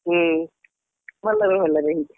ହୁଁ ଭଲରେ ଭଲରେ ହେଇଚି।